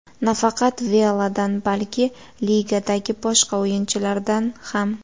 Nafaqat Veladan, balki ligadagi boshqa o‘yinchilardan ham.